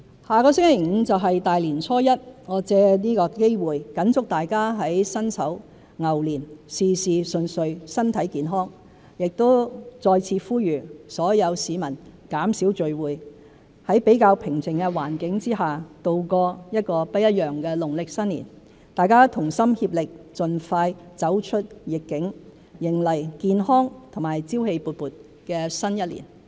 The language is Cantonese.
下星期五便是大年初一，我藉此機會謹祝大家在辛丑牛年，事事順遂，身體健康，亦再次呼籲所有市民減少聚會，在比較平靜的環境下，度過一個不一樣的農曆新年，大家同心協力，盡快走出"疫"境，迎來健康和朝氣勃勃的新一年。